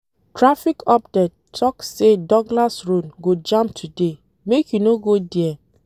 Traffic update tok say Douglas road go jam today, make you no go there.